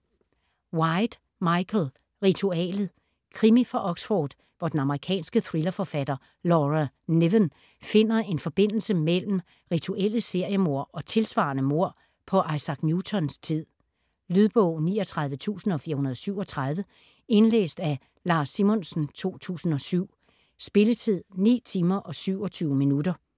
White, Michael: Ritualet Krimi fra Oxford, hvor den amerikanske thrillerforfatter Laura Niven finder en forbindelse mellem rituelle seriemord og tilsvarende mord på Isaac Newtons tid. Lydbog 39437 Indlæst af Lars Simonsen, 2007. Spilletid: 9 timer, 27 minutter.